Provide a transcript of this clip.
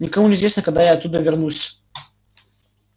никому не известно когда я оттуда вернусь